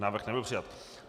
Návrh nebyl přijat.